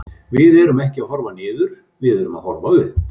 Við erum ekki að horfa niður, við erum að horfa upp.